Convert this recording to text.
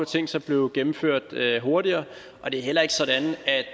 tænkt sig blev gennemført hurtigere og det er heller ikke sådan at